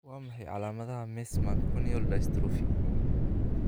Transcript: Waa maxay calaamadaha iyo calaamadaha Meesmann corneal dystrophy?